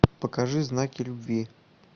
покажи знаки любви